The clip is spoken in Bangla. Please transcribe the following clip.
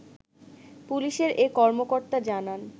পুলিশের এ কর্মকর্তা জানান